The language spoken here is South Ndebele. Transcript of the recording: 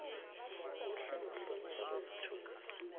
kuhle nokuhlonitjhwa kwesithunzi